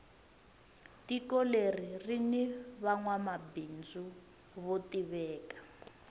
tiko leri rini vanwa mabindzu vo tiveka